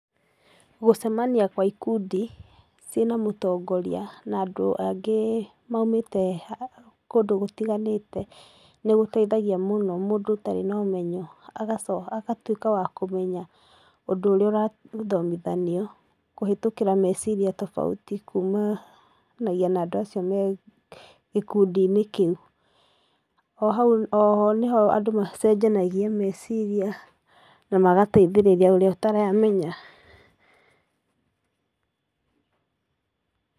Gũcemania gwa ikundi, ciĩna mũtongoria, na andũ angĩ maumĩte kũndũ gũtiganĩte, nĩgũteithagia mũno mũndũ ũtarĩ na ũmenyo, agaco agatuĩka wa kũmenya ũndũ ũrĩa ũrathomithanio, kũhĩtũkĩra meciria tofauti kumanagia na andũ acio me gĩkundinĩ kĩu. O hau oho nĩho andũ macenjanagia meceiria, namagateithĩrĩrĩa ũrĩa ũtaramenya.